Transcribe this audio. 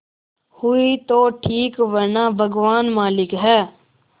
हुई तो ठीक वरना भगवान मालिक है